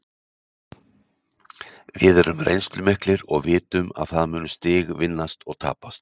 Við erum reynslumiklir og vitum að það munu stig vinnast og tapast.